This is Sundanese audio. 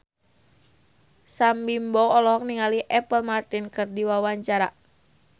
Sam Bimbo olohok ningali Apple Martin keur diwawancara